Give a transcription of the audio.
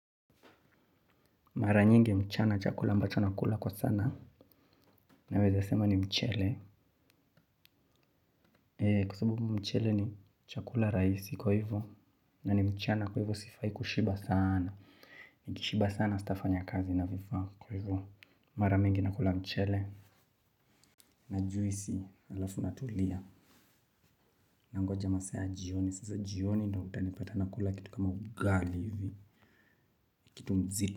Mara nyingi mchana chakula ambacho nakula kwa sana. Naweza sema ni mchele. Kwa sababu mchele ni chakula raisi kwa hivo. Na ni mchana kwa hivo sifai kushiba sana. Nikishiba sana sitafanya kazi inavyovaa kwa hivo. Mara mingi nakula mchele. Na juisi alafu natulia. Nangoja masaa ya jioni. Sasa jioni ndo utanipata nakula kitu kama ugali hivi. Kitu mzito.